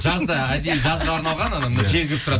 жазда әдейі жазға арналған жел кіріп тұрады